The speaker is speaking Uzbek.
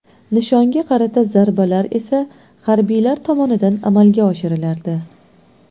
Nishonga qarata zarbalar esa harbiylar tomonidan amalga oshirilardi.